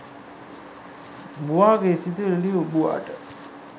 බූවා ගේ සිතුවිලි ලියූ බූවාට